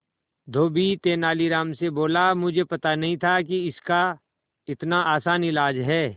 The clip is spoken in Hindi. धोबी तेनालीराम से बोला मुझे पता नहीं था कि इसका इतना आसान इलाज है